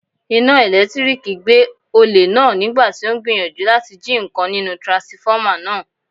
Iná ẹ̀lẹ́tíríkì gbé olè náà nígbàtí ó ń gbìyànjú láti jí ǹkan nínú tiransifọ́mà náà.